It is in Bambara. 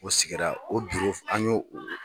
O sigira o an yo o